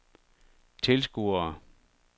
tilskuere